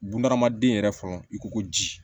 Bunahadamaden yɛrɛ fɔlɔ i ko ko ji